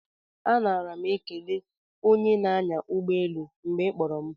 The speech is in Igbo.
A nara m ekele onye na-anya ụgbọelu ụnyaahụ mgbe ị kpọrọ m